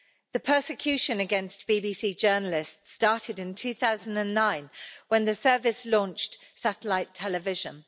The persecution against BBC journalists started in 2009 when the service launched satellite television.